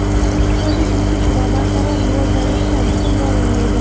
iqtisodiy o‘sish va barqaror rivojlanishda muhim rol o‘ynaydi.